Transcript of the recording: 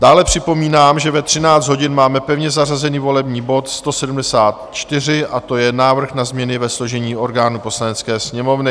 Dále připomínám, že ve 13 hodin máme pevně zařazený volební bod 174, a to je návrh na změny ve složení orgánů Poslanecké sněmovny.